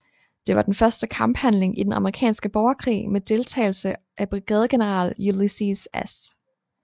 Det var den første kamphandling i den amerikanske borgerkrig med deltagelse af brigadegeneral Ulysses S